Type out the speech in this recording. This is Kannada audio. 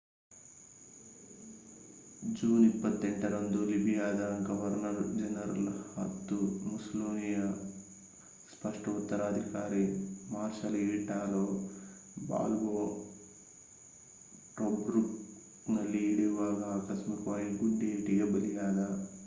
ಜೂನ್ 28ರಂದು ಲಿಬಿಯಾದ ಗವರ್ನರ್ ಜನರಲ್ ಮತ್ತು ಮುಸ್ಸೊಲಿನಿಯ ಸ್ಪಷ್ಟ ಉತ್ತರಾಧಿಕಾರಿ ಮಾರ್ಷಲ್ ಈಟಾಲೋ ಬಾಲ್ಬೋ ಟೊಬ್ರುಕ್‌ನಲ್ಲಿ ಇಳಿಯುವಾಗ ಆಕಸ್ಮಿಕವಾದ ಗುಂಡೇಟಿಗೆ ಬಲಿಯಾದ